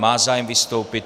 Má zájem vystoupit.